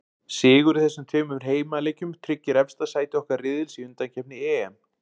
Sigur í þessum tveimur heimaleikjum tryggir efsta sæti okkar riðils í undankeppni EM.